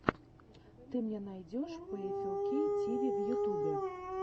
ты мне найдешь пиэфэлкей тиви в ютюбе